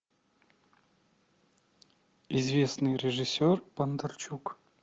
известный режиссер бондарчук